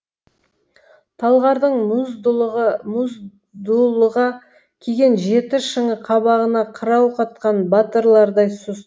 талғардың мұз дулыға киген жеті шыңы қабағына қырау қатқан батырлардай сұс